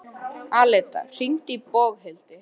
Alida, hringdu í Boghildi.